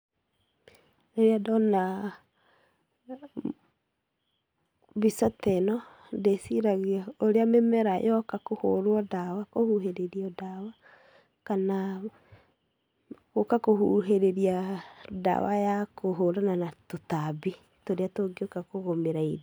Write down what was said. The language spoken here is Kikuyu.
Rĩrĩa ndoona mbica teno, ndĩciragia ũrĩa mĩmera yoka kũhũrwo ndawa, kũhuhĩrĩrio ndawa kana, gũka kũhũhĩrĩriaa ndawa ya kũhũrana na tũtambi tũrĩa tũngĩũka kũgũmĩra iri.